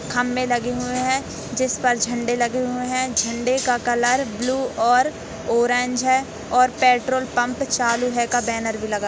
खंबे लगे हुए है जिस पर झंडे लगे हुए है झंडे का कलर ब्लू और ऑरेंज है और पेट्रोल पम्प चालू है का बैनर भी लगा--